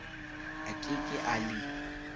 a ke ke a le